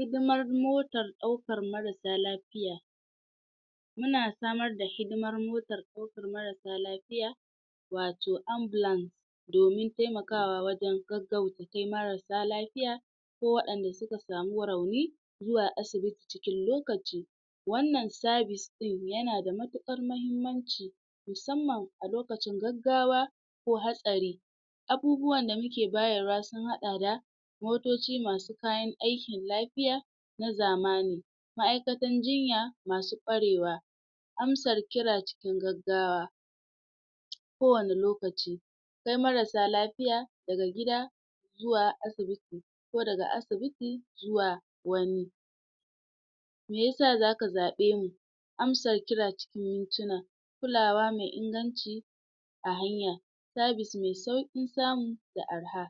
Hidimar motar ɗaukar maras sa lafiya muna samar da hidimar motar ɗaukar maras sa lafiya wato ambulance domin taimakawa wajan gaggauta kai maras sa lafiya ko wa'yanda suak samu rauni zuwa asibiti cikin lokaci wannan services ɗin yana da matuƙar mahimmanci musamman a lokacin gaggawa ko hatsari abubuwan da muke bayarwa sun haɗa da motoci masu kayan aikin lafiya na zamani ma'aikatan jinya masu kwarewa amsar kira cikin gaggawa kowanne lokaci kai marassa lafiya daga gida zuwa asibiti ko daga asibiti zuwa wani meyasa zaka zaɓe mu amsa kira cikin mituna kulawa mai inganci a hanya services mai sauƙin samu da arha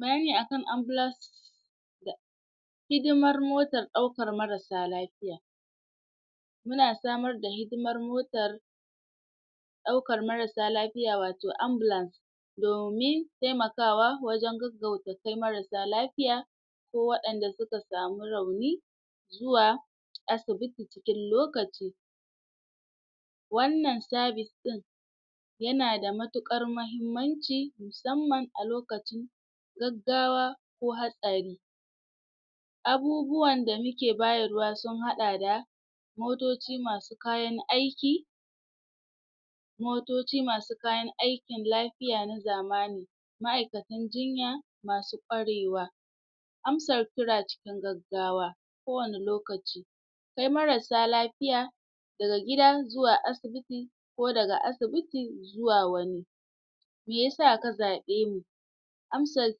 bayani akan ambulance hidimar motar ɗaukar maras sa lafiya muna samar da hidimar motar ɗaukar maras sa lafiya wato ambulance domin taimakawa wajan gaggauta kai maras sa lafiya ko wa'yanda suka sami rauni zuwa asibiti cikin lokaci wannan sabis ɗin yana da matuƙar mahimmanci musamman a lokacin gaggawa ko hatsari abubuwan da muke bayarwa su haɗa da motoci masu kayan aiki motoci masu kayan aikin lafiya na zamani ma'aikatan jinya masu kwarewa amsa kira cikin gaggawa kowanne lokaci kai marassa lafiya daga gida zuwa asibiti ko daga asibiti zuwa wani meyesa ka zaɓe mu amsar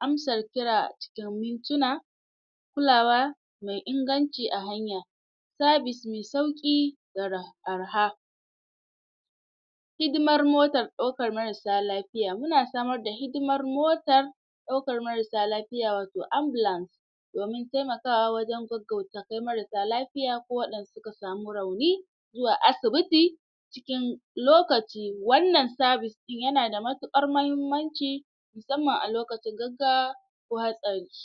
amsar kira a cikin mintuna kulawa mai inganci a hanya services mai sauƙi gara arha hidimar motar ɗaukar marassa lafiya, muna samar da hidima motar ɗaukar marassa lafiya wato Ambulance domin taimakawa wajan gaggauta kai marassa lafiya ko waɗanda suka sami rauni zuwa asibiti cikin lokaci, wannan services ɗin yana da matuƙar mahimmanci musamman a lokacin gaggawa ko hatsari